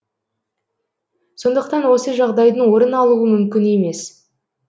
сондықтан осы жағдайдың орын алуы мүмкін емес